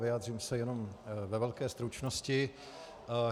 Vyjádřím se jenom ve velké stručnosti.